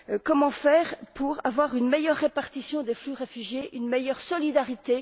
Comment faire pour avoir une meilleure répartition des flux de réfugiés, une meilleure solidarité?